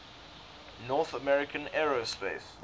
north american aerospace